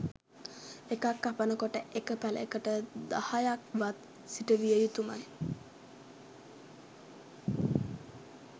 එකක් කපන කොට එක පැලයකට දහයක්වත් සිට විය යුතුමයි